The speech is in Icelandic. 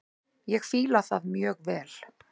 Ég fíla það mjög vel.